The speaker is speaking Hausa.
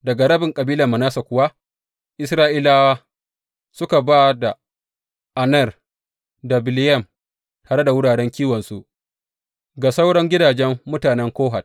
Daga rabin kabilar Manasse kuwa, Isra’ilawa suka ba da Aner da Bileyam, tare da wuraren kiwonsu, ga sauran gidajen mutanen Kohat.